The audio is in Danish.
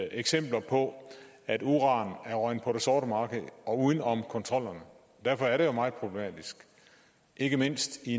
eksempler på at uran er røget på det sorte marked og uden om kontrollerne derfor er det jo meget problematisk ikke mindst i